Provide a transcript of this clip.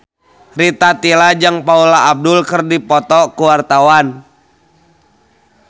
Rita Tila jeung Paula Abdul keur dipoto ku wartawan